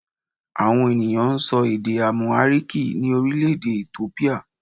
Àwọn ènìyàn n sọ èdè 'Àmùháríkì ní Orílèdè Ethiopia